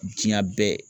Diɲɛ bɛɛ